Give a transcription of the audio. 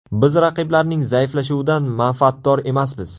Biz raqiblarning zaiflashuvidan manfaatdor emasmiz.